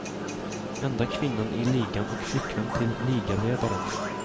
Enda kvinnan i ligan och flickvän till ligaledaren.